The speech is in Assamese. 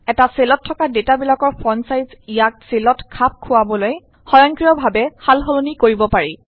এটা চেলত থকা ডেটা বিলাকৰ ফন্ট ছাইজ ইয়াক চেলত খাপ খোৱাবলৈ সয়ংক্ৰিয়ভাৱে সালসলনি কৰিব পাৰি